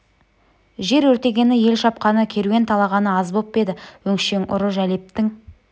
жер өртегені ел шапқаны керуен талағаны аз боп па еді өңшең ұры жәлептің